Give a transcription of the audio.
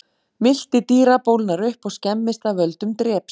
Milti dýra bólgnar upp og skemmist af völdum dreps.